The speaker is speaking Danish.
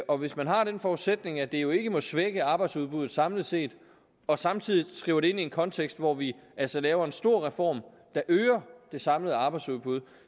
og hvis man har den forudsætning at det jo ikke må svække arbejdsudbuddet samlet set og samtidig skriver det ind i en kontekst hvor vi altså laver en stor reform der øger det samlede arbejdsudbud